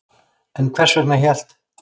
En hvers vegna hélt